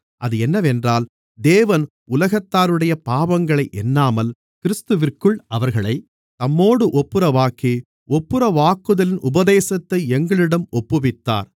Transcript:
அது என்னவென்றால் தேவன் உலகத்தாருடைய பாவங்களை எண்ணாமல் கிறிஸ்துவிற்குள் அவர்களைத் தம்மோடு ஒப்புரவாக்கி ஒப்புரவாக்குதலின் உபதேசத்தை எங்களிடம் ஒப்புவித்தார்